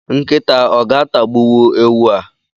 Nkịta o ga-atagbuwu ewu a?.